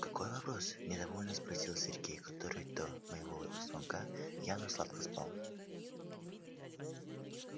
какой вопрос недовольно спросил сергей который до моего звонка явно сладко спал